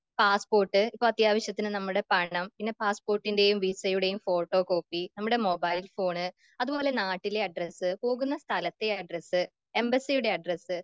passport, ഇപ്പൊ അത്യാവശ്യത്തിന് നമ്മുടെ പണം പിന്നെ പാസ്സ്പോർട്ടിന്റെയും വിസയുടെയും ഫോട്ടോകോപ്പി നമ്മുടെ മുബൈൽഫോൺ അത്പോലെ നാട്ടിലെ അഡ്രസ്സ് പോകുന്ന സ്ഥലത്തെ അഡ്രസ്സ് എംബസ്സിയുടെ അഡ്രസ്സ്